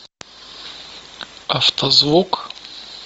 автозвук